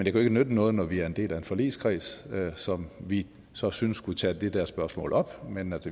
jo ikke nytte noget når vi er en del af en forligskreds som vi så synes skulle tage det der spørgsmål op men